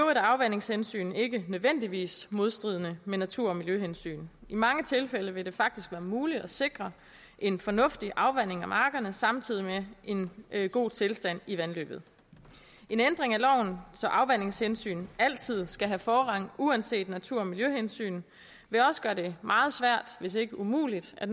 er afvandingshensyn ikke nødvendigvis modstridende med natur og miljøhensyn i mange tilfælde vil det faktisk være muligt at sikre en fornuftig afvanding af markerne samtidig med en god tilstand i vandløbet en ændring af loven så afvandingshensyn altid skal have forrang uanset natur og miljøhensyn vil også gøre det meget svært hvis ikke umuligt at